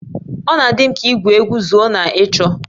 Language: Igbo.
Ọ na-adị m ka igwu egwu zoo na ịchọ